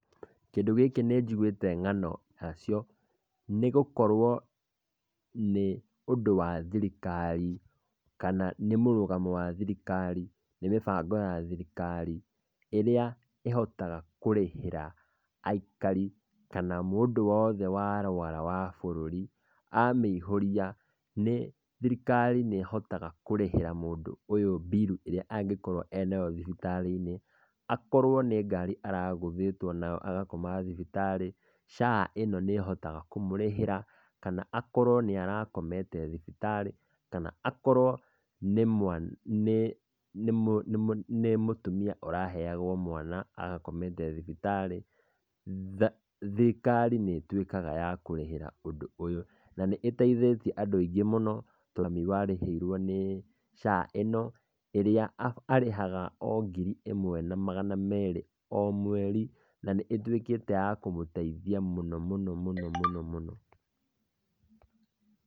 Kĩndũ gĩkĩ nĩ njĩgũĩte ng'ano yacio, nĩgũkorwo nĩ ũndũ wa thirikari, kana nĩ mũrũgamo wa thirikari, nĩ mĩbango ya thirikari, ĩrĩa ĩhotaga kũrĩhĩra aikari kana mũndũ wothe warũara wa bũrũri, amĩihũria thirikari nĩhotaga kũrĩhĩra mũndũ ũyũ bill ĩrĩa angĩkoreo nayo thibitarĩ-inĩ, akorwo nĩ ngari aragũthĩtwo nayo agakoma thibitarĩ, SHA ĩno nĩ ĩhotaga kũmũrĩhĩra kana akorwo nĩ arakomete thibitarĩ, kana akorwo nĩ mũtumia ũraheyagũo mwana arakomete thibitarĩ, thirikari nĩ ĩtuĩkaga ya kũrĩhĩra ũndũ ũyũ, na nĩ ĩteithĩtie andũ aingĩ mũno, tondũ nĩmarĩhĩirwo nĩ SHA, ĩria marĩhĩte na nĩ ituĩkĩye ya kũmũteithia mũno mũno mũno.